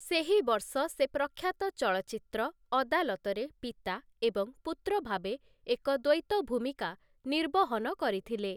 ସେହି ବର୍ଷ ସେ ପ୍ରଖ୍ୟାତ ଚଳଚ୍ଚିତ୍ର 'ଅଦାଲତ'ରେ ପିତା ଏବଂ ପୁତ୍ର ଭାବେ ଏକ ଦ୍ୱୈତ ଭୂମିକା ନିର୍ବହନ କରିଥିଲେ ।